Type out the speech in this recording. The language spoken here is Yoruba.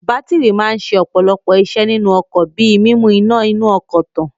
Bátírì máa ń ṣe ọ̀pọ̀lọpọ̀ iṣẹ́ nínú ọkọ̀ bí i mímu iná inú ọkọ̀ tàn.